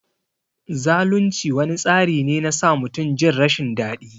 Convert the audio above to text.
Zalunci wani tsari ne na sa mutum Jin rashin dadi.